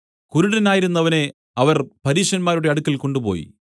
കുരുടനായിരുന്നവനെ അവർ പരീശന്മാരുടെ അടുക്കൽ കൊണ്ടുപോയി